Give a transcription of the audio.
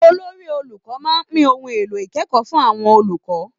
Olori-olùkọ́ máa pín ohun èlò ìkẹ́kọ̀ọ́ fún àwọn olùkọ́